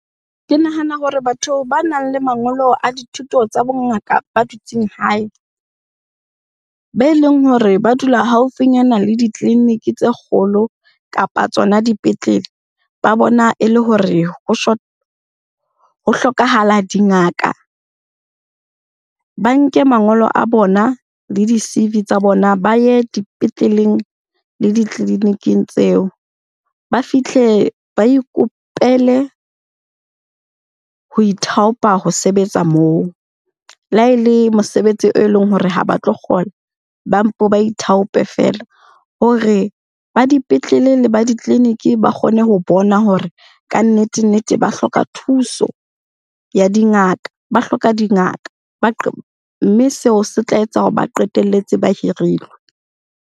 Ke nahana hore batho ba nang le mangolo a dithuto tsa bongaka ba dutseng hae, be leng hore ba dula haufinyana le ditleliniki tse kgolo kapa tsona dipetlele. Ba bona e le hore ho ho hlokahala dingaka. Ba nke mangolo a bona le di-C_V tsa bona, ba ye dipetleleng le ditleliniking-ing tseo. Ba fitlhe ba ikopele ho ithaopa ho sebetsa moo, le ha e le mosebetsi e leng hore ha ba tlo kgona ba mpe ba ithaope feela. Hore ba dipetlele le ba ditleliniki ba kgone ho bona hore kannete-nnete ba hloka thuso ya dingaka, ba hloka dingaka. Mme seo se tla etsa hore ba qetelletse ba hirilwe.